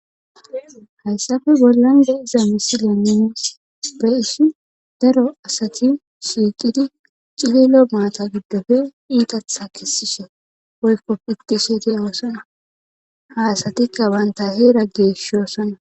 Hayssafe bollande iza misila nines ba issi daro asati shiiqidi cihelo maata giddofe iitatha kisishe oykko pittishete oosana ha asatikka banta heera geeshshosana